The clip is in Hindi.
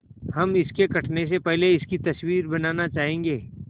हम इसके कटने से पहले इसकी तस्वीर बनाना चाहेंगे